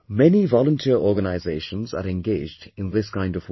Many volunteer organizations are engaged in this kind of work